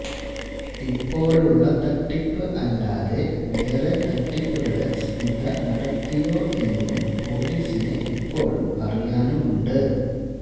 ഇപ്പോഴുള്ള തട്ടിപ്പ് അല്ലാതെ വേറെ തട്ടിപ്പുകള് സ്മിത നടത്തിയോ എന്നും പൊലീസിന് ഇപ്പോഴും അറിയാനുമുണ്ട്